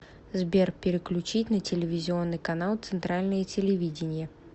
сбер переключить на телевизионный канал центральное телевидение